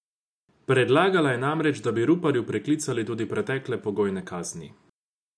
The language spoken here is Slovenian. Predlagala je namreč, da bi Ruparju preklicali tudi pretekle pogojne kazni.